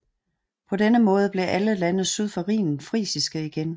På denne måde blev alle lande syd for Rhinen frisiske igen